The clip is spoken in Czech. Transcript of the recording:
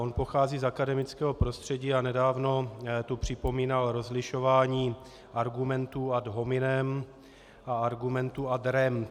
On pochází z akademického prostředí a nedávno tu připomínal rozlišování argumentů ad hominem a argumentů ad rem.